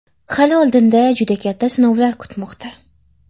Hali oldinda juda katta sinovlar kutmoqda”.